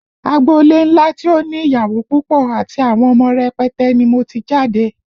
Agbolé ńlá tí ó ní ìyàwó púpọ̀ àti àwọn ọmọ rẹpẹtẹ ni mo ti jáde